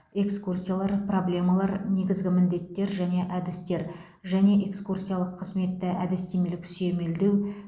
экскурсиялар проблемалар негізгі міндеттер және әдістер және экскурсиялық қызметті әдістемелік сүйемелдеу